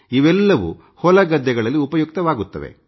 ಇವೆಲ್ಲವೂ ಹೊಲಗದ್ದೆಗಳಲ್ಲಿ ಉಪಯುಕ್ತವಾಗುತ್ತವೆ